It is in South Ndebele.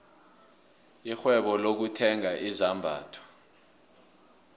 irhwebo lokuthenga izambatho